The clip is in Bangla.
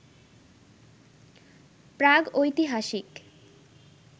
প্রাগৈতিহাসিক